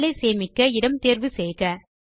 file ஐ சேமிக்க இடம் தேர்வு செய்க